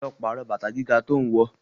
Lọ pàrọ̀ bàtà gíga tó ń wọ.